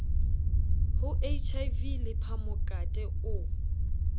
ho hiv le phamokate o